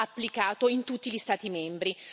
applicato in tutti gli Stati membri.